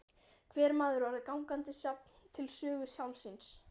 Hver maður orðinn gangandi safn til sögu sjálfs sín.